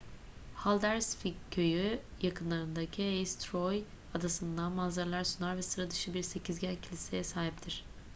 haldarsvík köyü yakındaki eysturoy adasından manzaralar sunar ve sıra dışı bir sekizgen kiliseye sahiptir